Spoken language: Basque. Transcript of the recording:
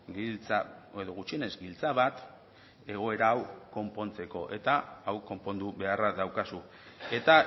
giltza edo gutxienez giltza bat egoera hau konpontzeko eta hau konpondu beharra daukazu eta